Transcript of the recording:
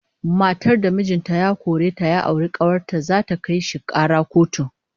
Matar da mijin ta ya kore ta ya auri kawar ta, zata kai shi kara kotu